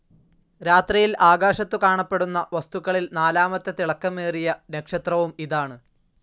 രാത്രിയിൽ ആകാശത്തു കാണപ്പെടുന്ന വസ്തുക്കളിൽ നാലാമത്തെ തിളക്കമേറിയ നക്ഷത്രവും ഇതാണ്.